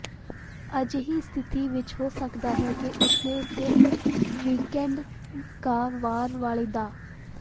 ਅਜਿਹੀ ਸਥਿਤੀ ਵਿਚ ਹੋ ਸਕਦਾ ਹੈ ਕਿ ਉਸਨੇ ਸਿਰਫ ਵੀਕਐਂਡ ਕਾ ਵਾਰ ਵਾਲੇ ਦ